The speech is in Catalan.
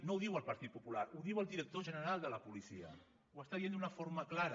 no ho diu el partit popular ho diu el director general de la policia ho està dient d’una forma clara